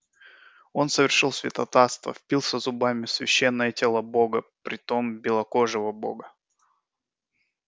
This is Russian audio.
он совершил святотатство впился зубами в священное тело бога притом белокожего бога